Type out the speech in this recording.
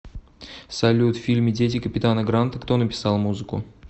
салют в фильме дети капитана гранта кто написал музыку